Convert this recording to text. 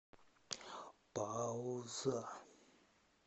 пауза